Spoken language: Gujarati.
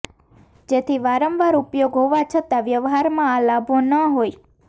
જેથી વારંવાર ઉપયોગ હોવા છતાં વ્યવહારમાં આ લાભો ન હોય